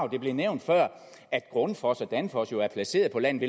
det blev nævnt før at grundfos og danfoss jo er placeret på landet